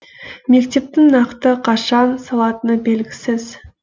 мектептің нақты қашан салатыны белгісіз